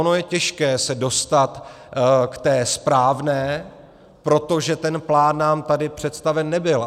Ono je těžké se dostat k té správné, protože ten plán nám tady představen nebyl.